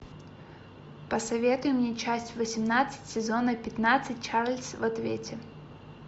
посоветуй мне часть восемнадцать сезона пятнадцать чарльз в ответе